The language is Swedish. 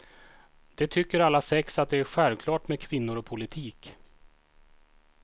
De tycker alla sex att det är självklart med kvinnor och politik.